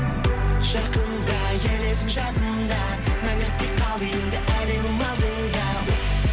жақында елесің жанымда мәңгілікке қалды енді әлемнің алдында уф